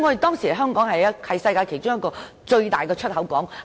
當時香港是世界其中一個最大的出口港。